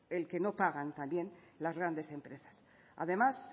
el que no pagan también las grandes empresas además